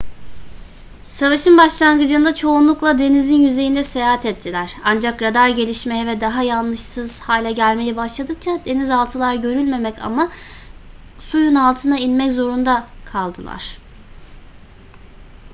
savaşın başlangıcında çoğunlukla denizin yüzeyinde seyahat ettiler ancak radar gelişmeye ve daha yanlışsız hale gelmeye başladıkça denizaltılar görülmemek ama suyun altına inmek zorunda kaldılar